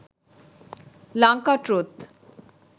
lanka truth